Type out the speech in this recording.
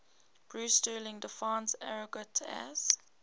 bruce sterling defines argot as